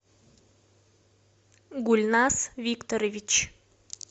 гульназ викторович